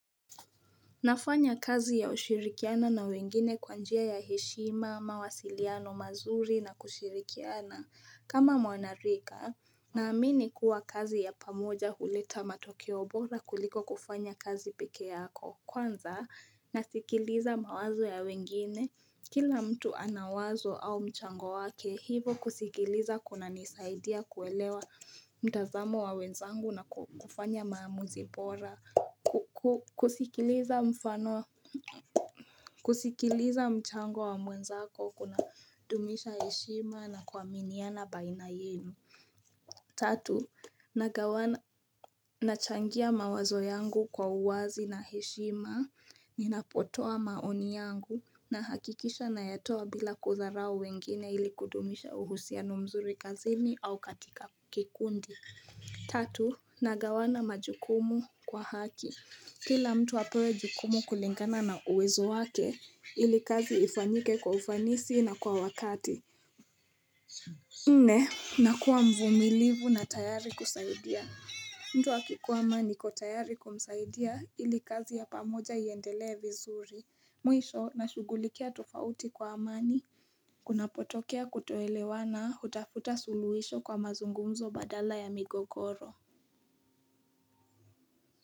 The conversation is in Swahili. Nafanya kazi ya ushirikiana na wengine kwa njia ya heshima, mawasiliano, mazuri na kushirikiana. Kama mwanarika, naamini kuwa kazi ya pamoja huleta matokeo bora kuliko kufanya kazi pekee yako. Kwanza, nasikiliza mawazo ya wengine. Kila mtu anawazo au mchango wake hivo kusikiliza kuna nisaidia kuelewa mtazamo wa wenzangu na kufanya maamuzi bora. Na kusikiliza mchango wa mwenzako kuna dumisha heshima na kuaminiana baina yenu. Tatu, nagawana nachangia mawazo yangu kwa uwazi na heshima, ninapotoa maoni yangu na hakikisha nayatoa bila kudharao wengine ili kudumisha uhusiano mzuri kazini au katika kikundi. Tatu, nagawana majukumu kwa haki. Kila mtu apewe jukumu kulingana na uwezo wake ili kazi ifanyike kwa ufanisi na kwa wakati nne na kuwa mvumilivu na tayari kusaidia mtu akikuwa ama niko tayari kumsaidia ili kazi ya pamoja iendelee vizuri Mwisho na shughulikia tofauti kwa amani Kunapotokea kutoelewana hutafuta suluhisho kwa mazungumzo badala ya migogoro.